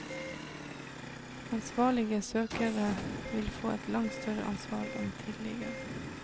Ansvarlige søkere vil få et langt større ansvar enn tidligere.